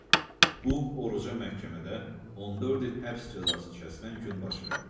Bu oruca məhkəmədə 14 il həbs cəzası kəsilən gün baş verdi.